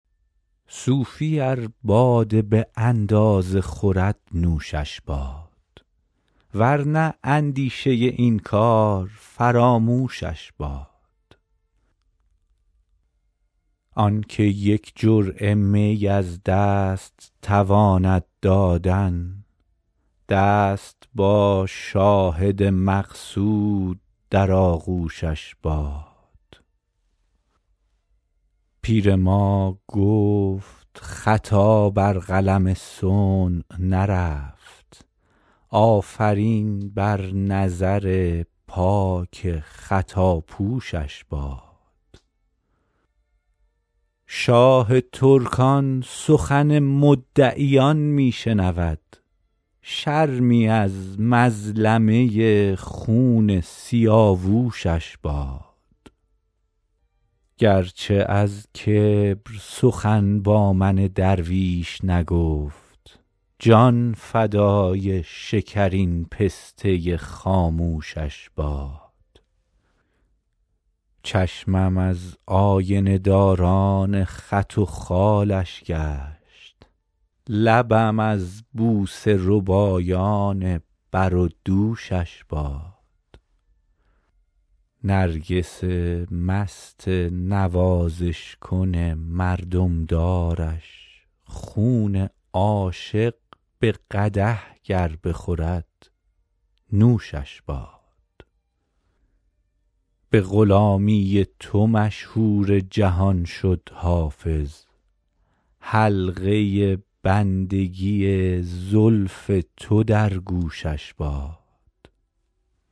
صوفی ار باده به اندازه خورد نوشش باد ور نه اندیشه این کار فراموشش باد آن که یک جرعه می از دست تواند دادن دست با شاهد مقصود در آغوشش باد پیر ما گفت خطا بر قلم صنع نرفت آفرین بر نظر پاک خطاپوشش باد شاه ترکان سخن مدعیان می شنود شرمی از مظلمه خون سیاوشش باد گر چه از کبر سخن با من درویش نگفت جان فدای شکرین پسته خاموشش باد چشمم از آینه داران خط و خالش گشت لبم از بوسه ربایان بر و دوشش باد نرگس مست نوازش کن مردم دارش خون عاشق به قدح گر بخورد نوشش باد به غلامی تو مشهور جهان شد حافظ حلقه بندگی زلف تو در گوشش باد